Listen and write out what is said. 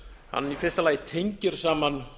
hann í fyrsta lagi tengir saman